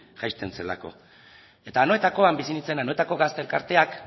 jaisten zelako eta anoetakoan bizi nintzen anoetako gazte elkarteak